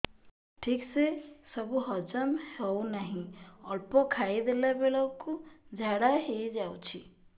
ଠିକସେ ସବୁ ହଜମ ହଉନାହିଁ ଅଳ୍ପ ଖାଇ ଦେଲା ବେଳ କୁ ଝାଡା ହେଇଯାଉଛି